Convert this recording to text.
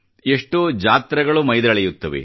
ಎಷ್ಟೋ ಜಾತ್ರೆಗಳು ಮೈದಳೆಯುತ್ತವೆ